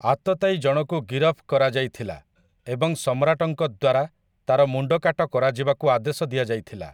ଆତତାୟୀ ଜଣକୁ ଗିରଫ କରାଯାଇଥିଲା ଏବଂ ସମ୍ରାଟଙ୍କ ଦ୍ୱାରା ତା'ର ମୁଣ୍ଡକାଟ କରାଯିବାକୁ ଆଦେଶ ଦିଆଯାଇଥିଲା ।